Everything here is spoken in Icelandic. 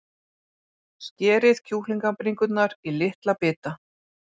Skerið kjúklingabringurnar í litla bita.